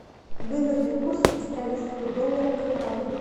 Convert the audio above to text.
выгодный курс австралийского доллара к реалу